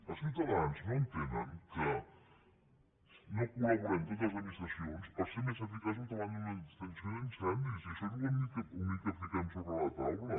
els ciutadans no entenen que no col·laborem totes les administracions per ser més eficaços davant d’una extinció d’incendis i això és l’únic que fiquem sobre la taula